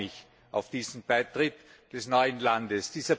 Ich freue mich auf diesen Beitritt des neuen Landes.